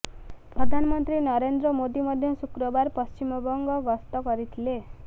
ପ୍ରଧାନମନ୍ତ୍ରୀ ନରେନ୍ଦ୍ର ମୋଦୀ ମଧ୍ୟ ଶୁକ୍ରବାର ପଶ୍ଚିମବଙ୍ଗ ଗସ୍ତ କରିଥିଲେ